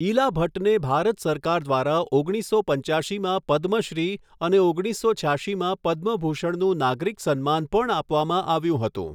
ઈલા ભટ્ટને ભારત સરકાર દ્વારા ઓગણીસો પંચ્યાશીમાં પદ્મશ્રી અને ઓગણીસો છ્યાશીમાં પદ્મ ભૂષણનું નાગરિક સન્માન પણ આપવામાં આવ્યું હતું.